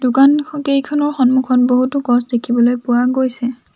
দোকানকেইখনৰ সন্মুখত বহুতো গছ দেখিবলৈ পোৱা গৈছে।